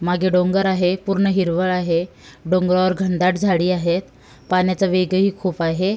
मागे डोंगर आहे पूर्ण हिरवळ आहे डोंगरावर घनदाट झाडी आहे पाण्याचा वेगही खूप आहे.